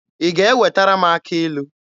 Ị ga-ewetara m akị ilu?